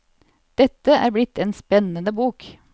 Dette er blitt en spennende bok.